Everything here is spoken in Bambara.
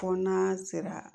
Fɔ n'a sera